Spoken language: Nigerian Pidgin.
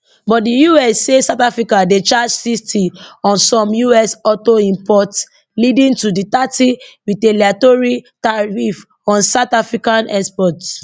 but di us say south africa dey charge 60 on some us auto imports leading to di thirty retaliatory tariff on south african exports